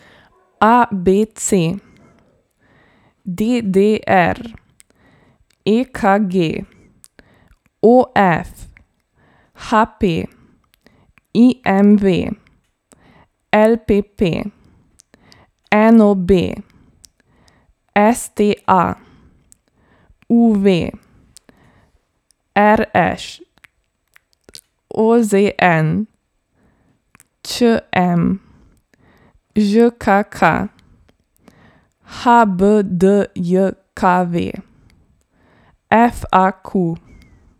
A B C; D D R; E K G; O F; H P; I M V; L P P; N O B; S T A; U V; R Š; O Z N; Č M; Ž K K; H B D J K V; F A Q.